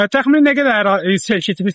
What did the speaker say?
Təxminən nə qədər sel gətirmişdi?